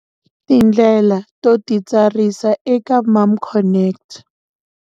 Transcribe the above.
Tindlela to titsarisa eka MomConnect.